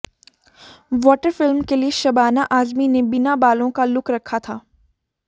Water film के लिए शबाना आजमी ने बिना बालों का लुक रखा था